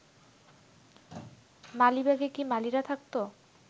মালিবাগে কি মালীরা থাকত?